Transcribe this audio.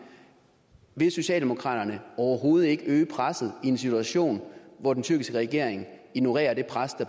vil socialdemokraterne overhovedet ikke øge presset i en situation hvor den tyrkiske regering ignorerer det pres der